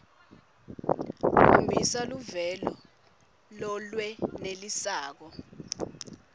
khombisa luvelo lolwenelisako